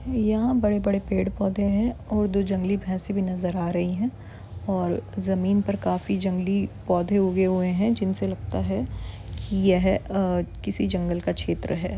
यहाँ बड़े-बड़े पेड़-पोधे है और दो जंगली भैसे भी नज़र भी आ रही है और पर जमीन पर काफी जंगली पोधे ऊगे हुए है जिनसे लगता है की यह अ जंगले का क्षेत्र है।